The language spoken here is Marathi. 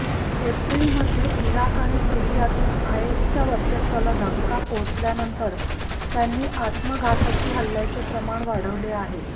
एप्रिलमध्ये इराक आणि सिरीयातून आयएसच्या वर्चस्वाला धक्का पोहचल्यानंतर त्यांनी आत्मघातकी हल्ल्याचे प्रमाण वाढवले आहे